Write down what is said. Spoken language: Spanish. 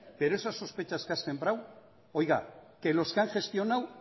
pero esas sospechas que ha sembrado oiga que los que han gestionado